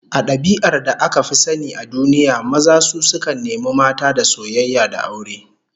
A dabi'ar da aka fi sani a duniya, maza su sukan nemi mata da soyayya da aure